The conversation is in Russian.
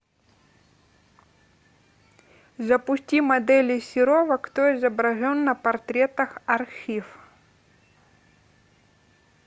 запусти моделей серова кто изображен на портретах архив